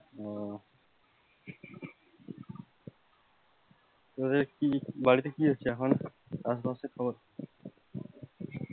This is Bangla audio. তোদের বাড়িতে কি হচ্ছে এখন আশে পাশের খবর কি?